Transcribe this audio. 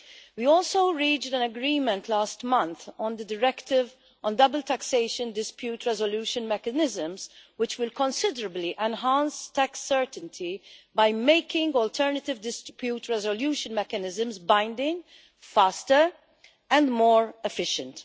We also reached an agreement last month on the directive on double taxation dispute resolution mechanisms, which will considerably enhanced tax certainty by making alternative dispute resolution mechanisms binding, faster and more efficient.